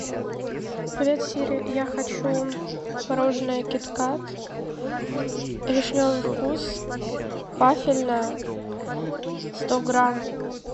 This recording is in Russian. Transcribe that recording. привет сири я хочу мороженое киткат вишневый вкус вафельное сто грамм